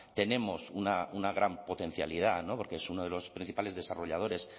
tenemos una gran potencialidad porque es uno de los principales desarrolladores